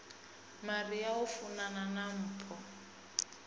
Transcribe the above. maria o funana na mpho